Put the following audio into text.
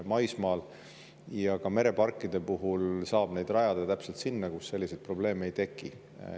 Maismaal ja ka mereparkide puhul saab neid rajada täpselt sinna, kus selliseid probleeme ei teki.